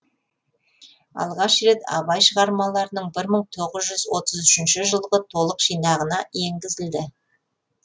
алғаш рет абай шығармаларының бір мың тоғыз жүз отыз үшінші жылғы толық жинағына енгізілді